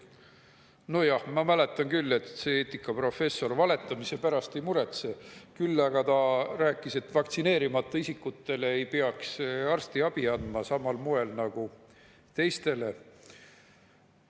Nojah, ma mäletan küll, et see eetikaprofessor valetamise pärast ei muretsenud, küll aga rääkis ta, et vaktsineerimata isikutele ei peaks andma arstiabi samal moel nagu teistele.